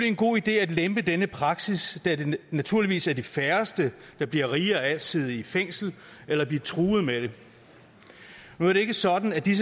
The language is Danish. en god idé at lempe denne praksis da det naturligvis er de færreste der bliver rigere af at sidde i fængsel eller at blive truet med det nu er det ikke sådan at de